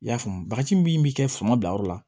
I y'a faamu bagaji min bɛ kɛ fanga bila yɔrɔ la